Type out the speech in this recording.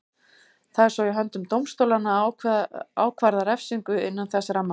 Það er svo í höndum dómstólanna að ákvarða refsingu innan þess ramma.